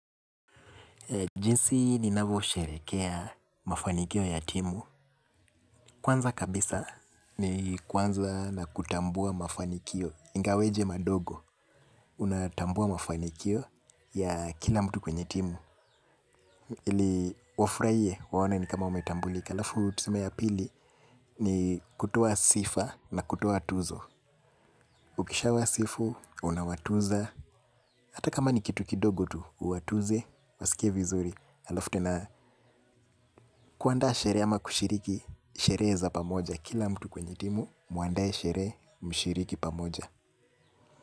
Jinsi ninavyo sherehekea mafanikio ya timu. Kwanza kabisa ni kuanza na kutambua mafanikio. Ingaweje madogo, unatambua mafanikio ya kila mtu kwenye timu. Ili wafurahie, waone ni kama wametambulika. Halafu tuseme ya pili ni kutoa sifa na kutoa tuzo. Ukisha wasifu, unawatuza. Hata kama ni kitu kidogo tu, uwatuze, wasikie vizuri. Halafu tena kuandaa sherehe ama kushiriki sherehe za pamoja kila mtu kwenye timu muandae sherehe mshiriki pamoja.